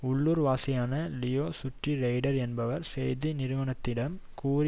உள்ளூர்வாசியான லியா சுட்ரி ரெய்டர் என்பவர் செய்தி நிறுவனத்திடம் கூறி